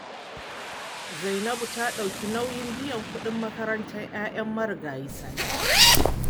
Zainabu ta ɗauki nauyin biyan kuɗin makarantar 'ya'yan marigayi Sani